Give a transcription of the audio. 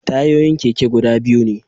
Tayoyin keke guda biyu ne